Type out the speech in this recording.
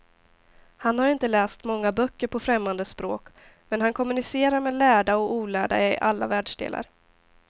Han har inte läst många böcker på främmande språk, men han kommunicerar med lärda och olärda i alla världsdelar.